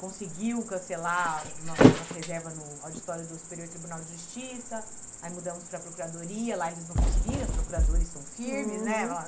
conseguiu cancelar a nossa nossa reserva no auditório do Superior Tribunal de Justiça, aí mudamos para a Procuradoria, lá eles não conseguiram, os procuradores são firmes, né?